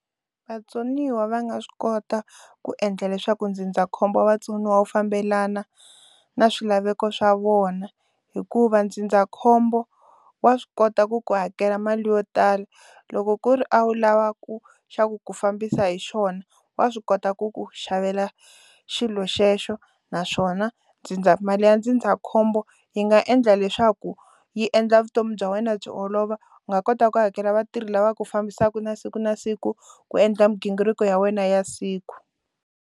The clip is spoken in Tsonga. Vatsoniwa va nga swi kota ku endla leswaku ndzindzakhombo wa vatsoniwa wu fambelana na swilaveko swa vona hikuva ndzindzakhombo wa swi kota ku ku hakela mali yo tala loko ku ri a wu lavaka xa ku ku fambisa hi xona wa swi kota ku ku xavela xilo xexo naswona ndzindza mali ya ndzindzakhombo yi nga endla leswaku yi endla vutomi bya wena byi olova u nga kota ku hakela vatirhi lava fambisaka na siku na siku ku endla mighingiriko ya wena ya siku.